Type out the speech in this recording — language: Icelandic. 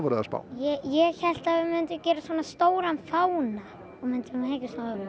að við myndum gera stóran fána og myndum hengja